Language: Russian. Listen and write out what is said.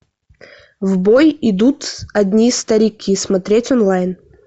в бой идут одни старики смотреть онлайн